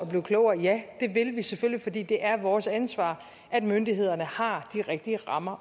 blive klogere ja det vil vi selvfølgelig for det er vores ansvar at myndighederne har de rigtige rammer